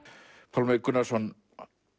Pálmi Gunnarsson